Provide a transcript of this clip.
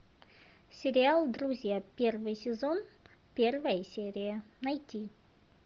сериал друзья первый сезон первая серия найти